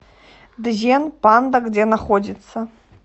дзен панда где находится